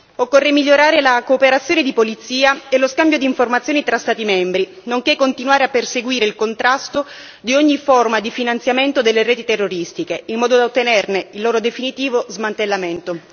Occorre migliorare la cooperazione di polizia e lo scambio di informazioni tra Stati membri, nonché continuare a perseguire il contrasto di ogni forma di finanziamento delle reti terroristiche, in modo da ottenerne il loro definitivo smantellamento.